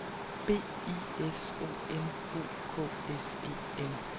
B I S O N O K S E N